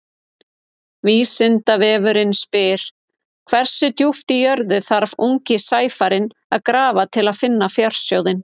Vísindavefurinn spyr: Hversu djúpt í jörðu þarf ungi sæfarinn að grafa til að finna fjársjóðinn?